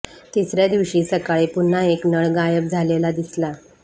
तिसऱ्या दिवशी सकाळी पुन्हा एक नळ गायब झालेला दिसला